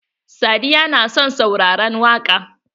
Sadiya na son sauraran waƙa.